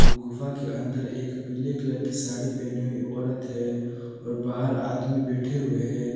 गुफा के अंदर एक पीले कलर की साड़ी पहनी हुई औरत है और बाहर आदमी बैठे हुए हैं।